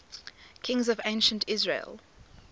kings of ancient israel